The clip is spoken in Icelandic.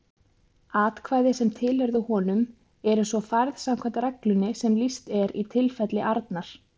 Atkvæði sem tilheyrðu honum eru svo færð samkvæmt reglunni sem lýst er í tilfelli Arnar.